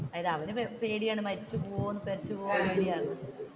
അതായത് അവനു പേടിയാണ് മരിച്ചുപോകും മരിച്ചുപോകും